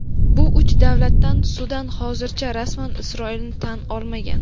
Bu uch davlatdan Sudan hozircha rasman Isroilni tan olmagan.